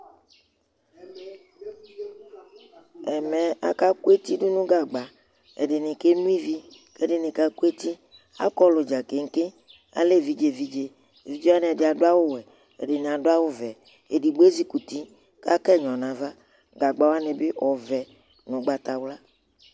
Ɛmɛ aka ku eti dù nù gagbã, ɛdini k'eno ivi, k'ɛdini ka ku eti akɔlu dza kenken, alɛ evidze evidze, evidzewani ɛdi adu awù wɛ, ɛdini adu awù vɛ edigbo ezukuti k'aka ɛnyɔ n'ava, gagbawani bi ɔvɛ n'ugbatawla